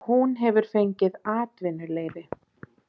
Hún hefur fengið atvinnuleyfi